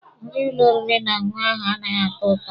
Nri ụlọ oriri na ọṅụṅụ ahụ anaghị atọ ụtọ.